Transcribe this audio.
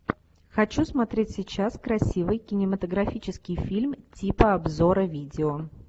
хочу смотреть сейчас красивый кинематографический фильм типа обзора видео